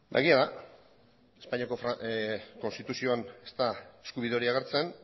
egia da espainiako konstituzioan ez dela eskubide hori agertzen